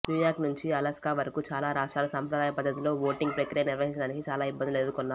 new York నుంచి Alaska వరకు చాలా రాష్ట్రాలు సంప్రదాయ పద్దతిలో వోటింగ్ ప్రక్రియ నిర్వహించడానికి చాలా ఇబ్బందులు ఎదుర్కొన్నారు